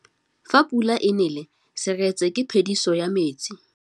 Fa pula e nelê serêtsê ke phêdisô ya metsi.